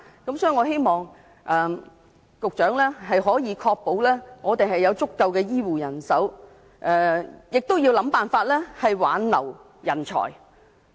所以，我希望局長可以確保香港有足夠的醫護人手，亦要設法挽留人才。